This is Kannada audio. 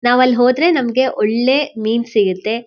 ನಾವ್ ಅಲ್ ಹೋದ್ರೆ ನಮ್ಗೆ ಒಳ್ಳೆ ಮೀನ್ ಸಿಗತ್ತೆ.